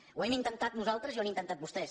ho hem intentat nosaltres i ho han intentat vostès